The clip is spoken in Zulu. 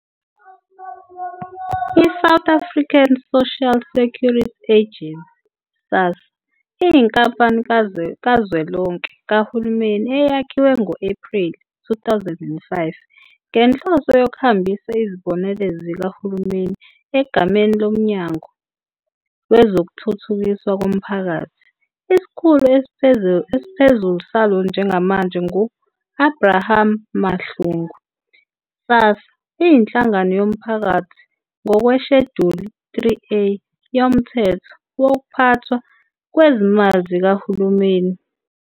I-South African Social Security Agency, SASSA, iyinkampani kazwelonke kahulumeni eyakhiwe ngo-Ephreli 2005 ngenhloso yokuhambisa izibonelelo zikahulumeni egameni loMnyango Wezokuthuthukiswa Komphakathi. Isikhulu esiphezulu salo njengamanje ngu-Abraham Mahlungu. SASSA iyinhlangano yomphakathi ngokweSheduli 3A yoMthetho Wokuphathwa Kwezimali Zikahulumeni.